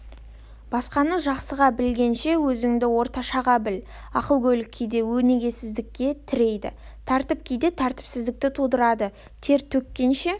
басқаны жақсыға білгенше өзіңді орташаға біл ақылгөйлік кейде өнегесіздікке тірейді тәртіп кейде тәртіпсіздікті тудырады тер төккенше